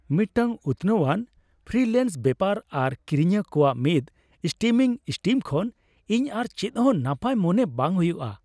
ᱢᱤᱫᱴᱟᱝ ᱩᱛᱱᱟᱹᱣ ᱟᱱ ᱯᱷᱨᱤᱞᱮᱱᱥ ᱵᱮᱯᱟᱨ ᱟᱨ ᱠᱤᱨᱤᱧᱤᱭᱟᱹ ᱠᱚᱣᱟᱜ ᱢᱤᱫ ᱥᱴᱤᱢᱤᱝ ᱥᱴᱤᱢ ᱠᱷᱚᱱ ᱤᱧ ᱟᱨ ᱪᱮᱫ ᱦᱚᱸ ᱱᱟᱯᱟᱭ ᱢᱚᱱᱮ ᱵᱟᱝ ᱦᱩᱭᱩᱜᱼᱟ ᱾